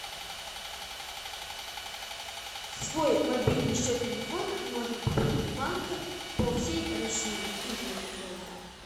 свой мобильный счет телефона можно пополнить в банках по всей россии и миру тоже